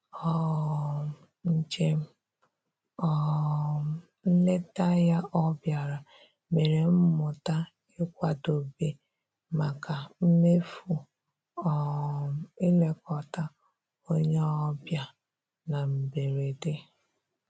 um Njem um nleta ya ọ bịara mere m mụta ịkwadobe maka mmefu um ilekọta onye ọbịa na mberede